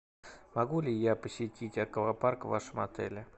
могу ли я посетить аквапарк в вашем отеле